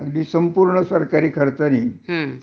अगदी संपूर्ण सरकारी खर्चानी